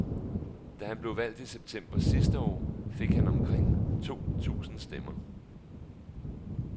Da han blev valgt i september sidste år, fik han omkring to tusind stemmer.